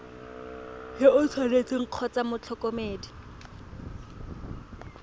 yo o tshwanetseng kgotsa motlhokomedi